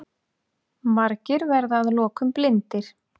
Margir verða að lokum blindir.